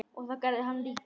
Og það gerði hann líka.